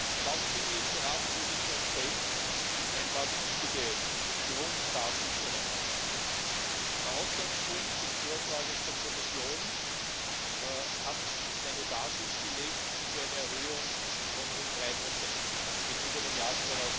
Erlauben Sie mir, zur Ratsposition selbst ein paar wichtige Grunddaten zu nennen Der Ausgangspunkt des Vorschlags der Kommission hat eine Basis gelegt für eine Erhöhung von rund drei Prozent gegenüber dem Jahr